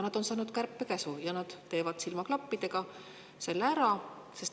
Nad on saanud kärpekäsu ja nad teevad selle silmaklappidega ära.